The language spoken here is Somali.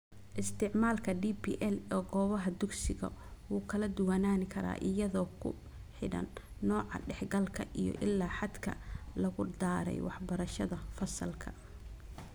Isticmaalka DPL ee goobaha dugsigu wuu kala duwanaan karaa iyadoo ku xidhan nooca dhexgalka iyo ilaa xadka lagu daray waxbarashada fasalka.